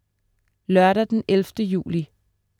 Lørdag den 11. juli